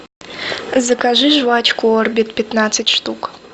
закажи жевачку орбит пятнадцать штук